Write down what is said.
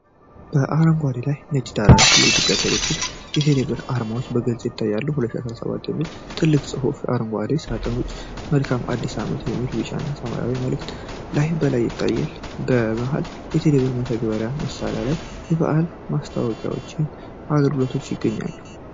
በአረንጓዴ እና ነጭ ዳራ ላይ የኢትዮ ቴሌኮም እና የቴሌብር አርማዎች በግልጽ ይታያሉ።"2017" የሚል ትልቅ ጽሑፍ ከአረንጓዴ ሳጥን ውጪ "መልካም አዲስ ዓመት!" የሚል ቢጫና ሰማያዊ መልእክት በላይ ይታያል። በመሃል፣ የቴሌብር መተግበሪያ ማሳያ ላይ የበዓል ማስታወቂያዎችና አገልግሎቶች ይታያሉ።